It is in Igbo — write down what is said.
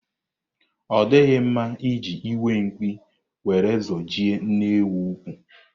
Ọ dịghị mma iji iwe mkpi were zojie nne ewu úkwú.